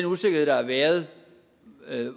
usikkerhed der har været